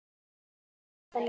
Elsku stelpan mín.